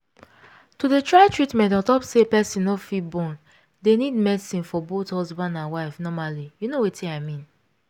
to dey try treatment ontop say person no fit born dey need medicine for both husband and wife normally you know wetin i mean